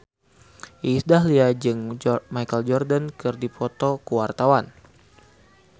Iis Dahlia jeung Michael Jordan keur dipoto ku wartawan